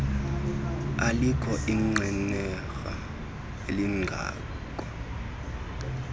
alikho inqenerha elingakha